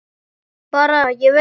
Bara: Ég veit.